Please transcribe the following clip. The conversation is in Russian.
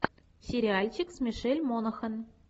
сериальчик с мишель монахэн